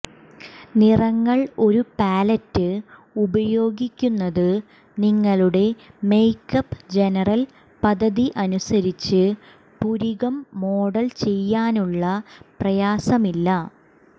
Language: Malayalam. നിറങ്ങൾ ഒരു പാലറ്റ് ഉപയോഗിക്കുന്നത് നിങ്ങളുടെ മേക്കപ്പ് ജനറൽ പദ്ധതി അനുസരിച്ച് പുരികം മോഡൽ ചെയ്യാനുള്ള പ്രയാസമില്ല